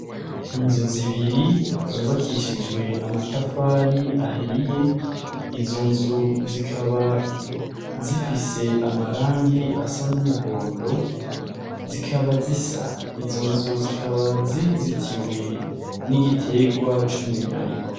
Inzu zibiri, zubakishijwe amatafari ahiye, izo nzu zikaba zifise amarangi asa n'umuhondo, zikaba zisa; izo nzu zikaba zizitiwe n'igiterwa c'umunyari.